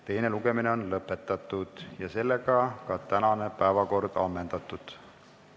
Teine lugemine on lõpetatud ja ka tänane päevakord ammendatud.